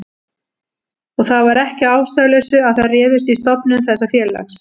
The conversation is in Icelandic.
Og það var ekki að ástæðulausu að þær réðust í stofnun þessa félags.